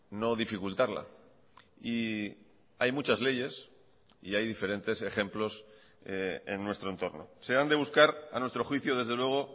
no dificultarla y hay muchas leyes y hay diferentes ejemplos en nuestro entorno se han de buscar a nuestro juicio desde luego